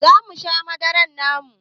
Zamu sha madarar muma